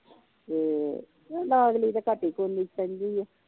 ਤੇ ਲਾਗਲੀ ਤੇ ਘੱਟ ਈ ਕੂਦੀ ਸੇਂਦੀ ਆ।